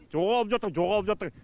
жоғалып жатыр жоғалып жатыр